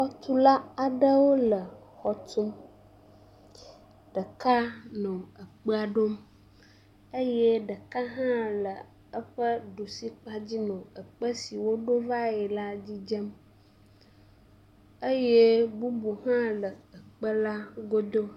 Xɔtula aɖewo le xɔ tum. Ɖeka nɔ ekpae ɖom eye ɖeka hã le eƒe ɖusi kpadzi no ekpe si woɖo va yi la dzi dzem eye bubu hã le ekpe la godo.